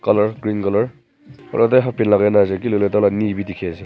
colour green colour aro tai halfpant lakai na ase Kiley koilae tai la knee bi dikhiase.